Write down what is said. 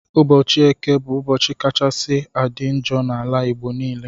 Ụbọchi eke bu ụbọchi kachasi adi njọ na ala igbo nile